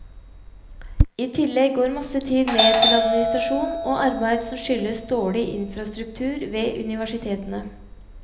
I tillegg går masse tid med til administrasjon og arbeid som skyldes dårlig infrastruktur ved universitetene.